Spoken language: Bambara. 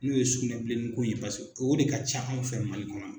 N'o ye sugunɛbilennin ko in ye paseke o de ka ca anw fɛ Mali kɔnɔ.